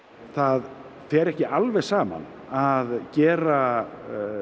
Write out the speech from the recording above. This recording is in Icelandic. það fer ekki alveg saman að gera